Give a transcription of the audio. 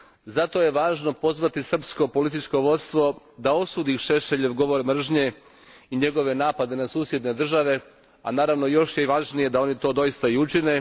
Zato je važno pozvati srpsko političko vodstvo da osudi Šešeljov govor mržnje i njegove napade na susjedne države, a naravno još je i važnije da oni to doista i učine.